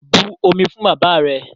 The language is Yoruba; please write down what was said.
But omi fún bàbáà rẹ!